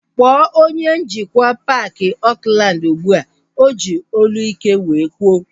Kpọọ onye njikwa paaki Oakland ụgbụa! O ji olu ike wee kwuo